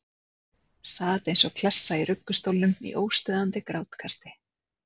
Sat eins og klessa í ruggustólnum í óstöðvandi grátkasti.